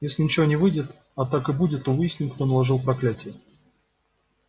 если ничего не выйдет а так и будет то выясним кто наложил проклятие